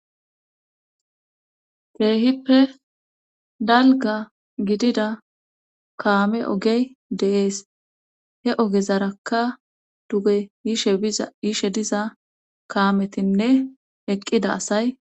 Keehippe dalga gidida kaame ogey deees he ogezaraka duge shyishe diza kaametinne eqqida asay